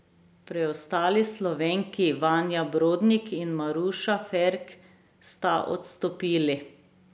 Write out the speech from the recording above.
Preostali Slovenki, Vanja Brodnik in Maruša Ferk, sta odstopili.